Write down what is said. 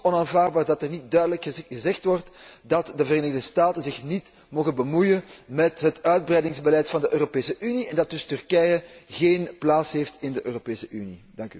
Het is ook onaanvaardbaar dat er niet duidelijk gezegd wordt dat de Verenigde Staten zich niet mogen bemoeien met het uitbreidingsbeleid van de Europese Unie en dat dus Turkije geen plaats heeft in de Europese Unie.